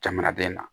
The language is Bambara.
Jamanaden na